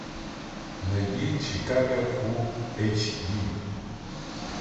найди чикаго фулл эйч ди